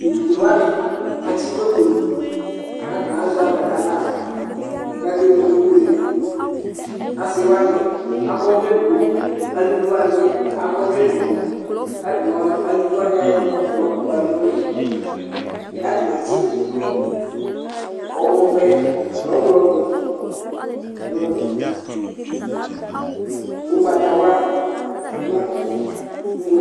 Tevidze wani atsikoto katani azɛ alɛ naɣlaKakebuele ibuele diAsiwani akɔ ɔwlɛ edigboAluvi wani bi akɔ ɔvlɛ edigboKatamialuvi wani ayɔ ɔvlɛɛ yɔkpala nuli Katani atsi ɔvɛ, nu ɔɣlɔmɔ, nu ugbatawla nu